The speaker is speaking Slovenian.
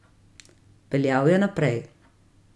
Peljal je naprej.